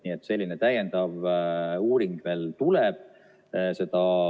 Nii et selline täiendav uuring veel tuleb.